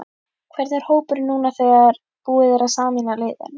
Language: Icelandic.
Hvernig er hópurinn núna þegar búið er að sameina liðin?